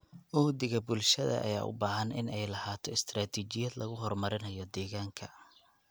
Uhdhigga bulshada ayaa u baahan in ay lahaato istaraatijiyad lagu horumarinayo deegaanka.